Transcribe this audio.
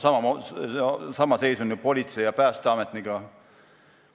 Sama seis on ju politsei- ja päästeametnikega.